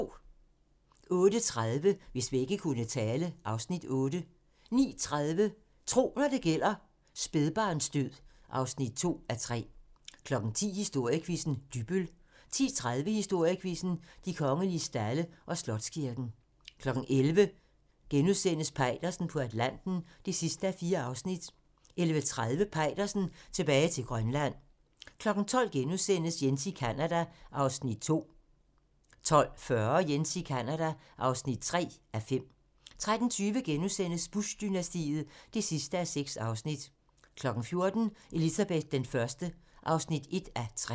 08:30: Hvis vægge kunne tale (Afs. 8) 09:30: Tro, når det gælder: Spædbarnsdød (2:3) 10:00: Historiequizzen: Dybbøl 10:30: Historiequizzen: De kongelige stalde og Slotskirken 11:00: Peitersen på Atlanten (4:4)* 11:30: Peitersen tilbage til Grønland 12:00: Jens i Canada (2:5)* 12:40: Jens i Canada (3:5) 13:20: Bush-dynastiet (6:6)* 14:00: Elizabeth I (1:3)